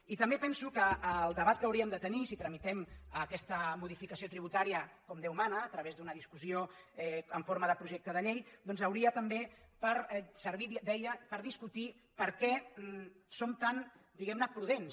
i també penso que el debat que hauríem de tenir si tramitem aquesta modificació tributària com déu mana a través d’una discussió en forma de projecte de llei hauria també de servir deia per discutir per què som tant diguem ne prudents